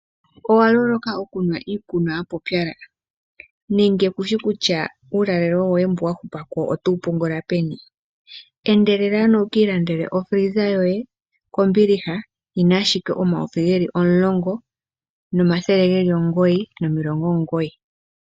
Owa loloka oku nwa iikunwa ya pupyala nenge kushi kutya uulalalo woye mbu wa hupapo oto wu pungula peni endelela ano wu kii landele ofiliza yoye ko mbiliha yina ashike $10, 999.